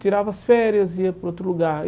Tirava as férias e ia para outro lugar.